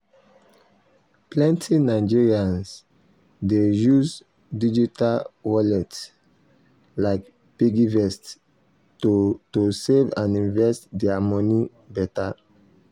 plenty nigerians dey use digital wallet like piggyvest to to save and invest their money better.